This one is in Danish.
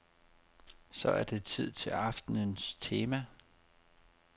Så er det tid til aftenens tema.